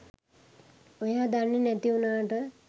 ඔයා දන්නෙ නැති වුණාට